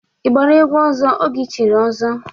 Ị gbara egwu ọzọ oge i chiri ọzọ?